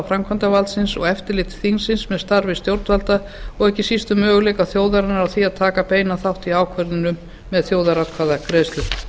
framkvæmdarvaldsins og eftirliti þingsins með starfi stjórnvalda og ekki síst um möguleika þjóðarinnar á að taka beinan þátt í ákvörðunum með þjóðaratkvæðagreiðslu